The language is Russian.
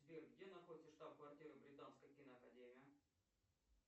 сбер где находится штаб квартира британской киноакадемии